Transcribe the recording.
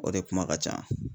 O de kuma ka can.